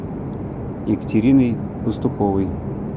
екатериной пастуховой